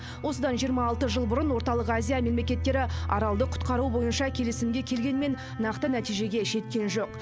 осыдан жиырма алты жыл бұрын орталық азия мемлекеттері аралды құтқару бойынша келісімге келгенмен нақты нәтижеге жеткен жоқ